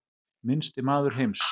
Minnsti maður heims